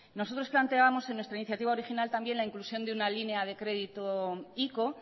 nosotros planteábamos en nuestra iniciativa original también la inclusión de una línea de crédito ico